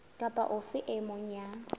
kapa ofe e mong ya